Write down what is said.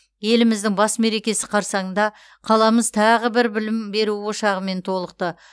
еліміздің бас мерекесі қарсаңында қаламыз тағы бір білім беру ошағымен толықты